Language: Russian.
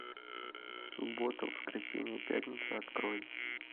суббота воскресенье пятница открой